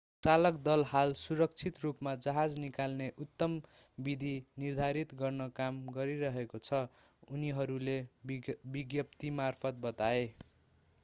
चालक दल हाल सुरक्षित रूपमा जहाज निकाल्ने उत्तम विधि निर्धारित गर्न काम गरिरहेको छ उनीहरूले विज्ञप्तिमार्फत बताए